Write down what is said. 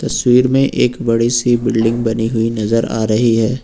तस्वीर मे एक बड़ी सी बिल्डिंग बनी हुई नजर आ रही है।